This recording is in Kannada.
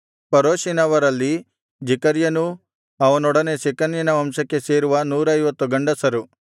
ಪರೋಷಿನವರಲ್ಲಿ ಜೆಕರ್ಯನೂ ಅವನೊಡನೆ ಶೆಕನ್ಯನ ವಂಶಕ್ಕೆ ಸೇರುವ 150 ಗಂಡಸರು